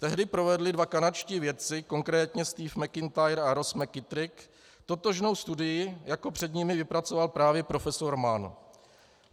Tehdy provedli dva kanadští vědci, konkrétně Steve McIntyre a Ross McKitrick, totožnou studii, jako před nimi vypracoval právě profesor Mann.